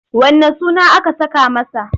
Wanne sunan aka saka masa?